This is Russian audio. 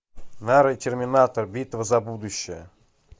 нарой терминатор битва за будущее